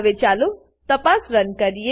હવે ચાલો તપાસ રન કરીએ